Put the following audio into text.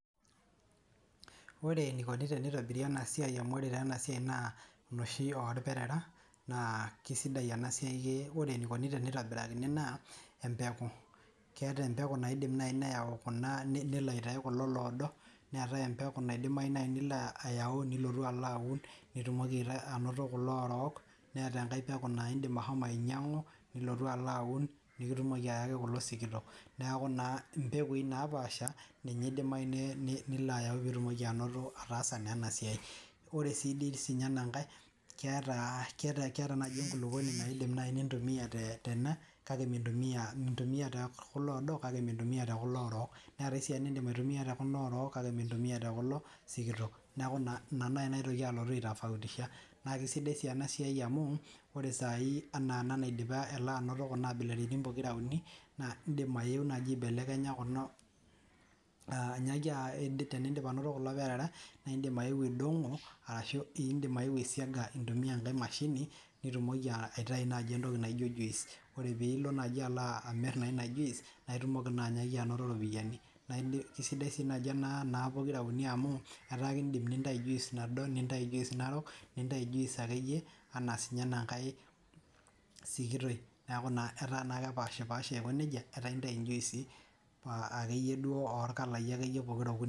Ore neikoni teneitobiri ena siai amu ore taa ena siaii naa noshi olpirira naa kesidai ena siai, ore neikoni teneitobirakini naa empeku, keatai empeku naidim nai neyau kunaa nelo aitayu kuna odo ,neatae empeku neidimai nai niko ayau nilotu alo aun nitumoki anoto kulo oorko, neatae empeku naa indim ashomo ainyang'u nilotu alo aun, nikitumoki ayaki kulo sikito, naaku naa impekui napaasha ninye eidimai nilo ayau piitumoki anoto, ataasa naa ena siai. Ore sii dei ninye ena nkae keata naaji enkuluponi naidim naii nintumiya tene, kake mintumiyaa too kulo oodo kake mintumiya too kulo oorok, neatae esiana niindim aituiyai te kuna oorok kake mintumiya too kulo sikito, naaku naa ina naa nalotu aitoki aitafautisha, naa kesidai sii ena siai amuu, ore saii anaa ena naidipa an anoto kuna abilaritin pookin, naa indim ayeu naaji aibelekenya kuna, teniindip anoto kulo ilparera indim aodong'o arashu indim ayeu aisiaga intumiya ng'ae mashini nitumoki aitai naaji entoki naijo juice, ore piilo naji amirr naa ilo juicep naa itumoki naa anyaki anoto iropiyiani, naaku kesidai si naji naa pokira uni amu ataa keidim nintai juice nado ,nintai nintai juice narook, nintai juice ake iyie anaa sii ake ana nkae sikitoi ,naaku naa kepaashpasha aikoneja, rtaa intai njuisi ake iyie duo olkalai pokira okuni.